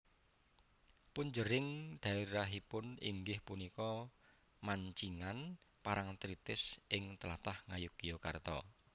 Punjering daérahipun inggih punika Mancingan Parangtritis ing tlatah Ngayogyakarta